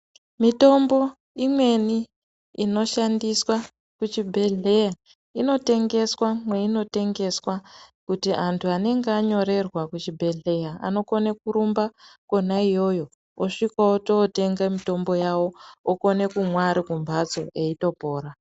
Mitombo imweni inoshandiswa kuchibhedhleya inotengeswa mweinotengeswa. Kuti antu anenge anyorerwa kuchibhedhleya anokona kurumba kona iyoyo osvika ototenga mitombo yavo okona kumwa ari kumbatso eitopora.